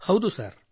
ಹೌದು ಸರ್